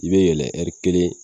I be yɛlɛ ɛri kelen